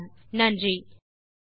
தமிழாக்கம் கீதா சாம்பசிவம்